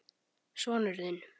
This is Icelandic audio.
Sonur þinn.